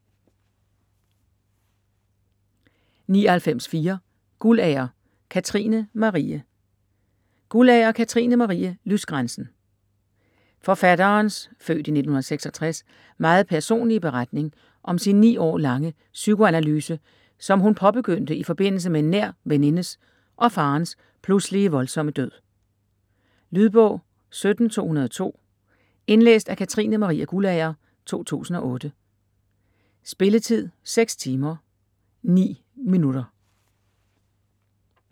99.4 Guldager, Katrine Marie Guldager, Katrine Marie: Lysgrænsen Forfatterens (f. 1966) meget personlige beretning om sin 9 år lange psykoanalyse, som hun påbegyndte i forbindelse med en nær venindes og faderens pludselige voldsomme død. Lydbog 17202 Indlæst af Katrine Marie Guldager, 2008. Spilletid: 6 timer, 9 minutter.